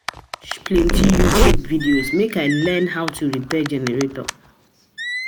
plenty YouTube videos make I learn how to repair generator.